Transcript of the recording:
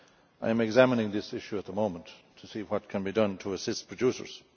I am examining this issue at the moment to see what can be done to assist producers.